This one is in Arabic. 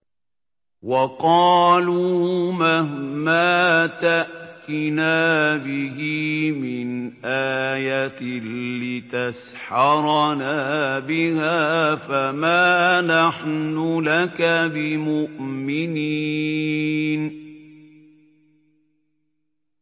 وَقَالُوا مَهْمَا تَأْتِنَا بِهِ مِنْ آيَةٍ لِّتَسْحَرَنَا بِهَا فَمَا نَحْنُ لَكَ بِمُؤْمِنِينَ